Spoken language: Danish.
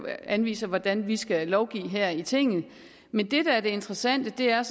anviser hvordan vi skal lovgive her i tinget men det der er det interessante er